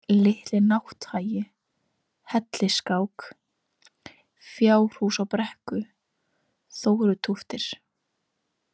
Litli-Nátthagi, Hellisskák, Fjárhús á brekku, Þórutóftir